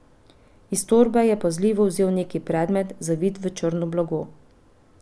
Iz torbe je pazljivo vzel neki predmet, zavit v črno blago.